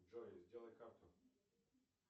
джой сделай карту